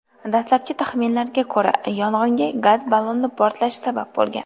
Dastlabki taxminlarga ko‘ra, yong‘inga gaz balloni portlashi sabab bo‘lgan.